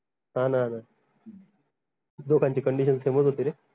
हान लोकांची condition same च होती रे